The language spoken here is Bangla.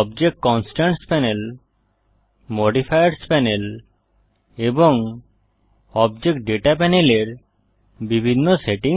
object constraints panel modifiers panel এবং অবজেক্ট দাতা পানেল এর বিভিন্ন সেটিংস কি